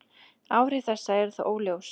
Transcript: Áhrif þessa eru þó óljós.